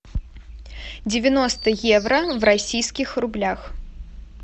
девяносто евро в российских рублях